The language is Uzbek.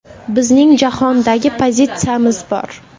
Bizning jahondagi pozitsiyamiz bor.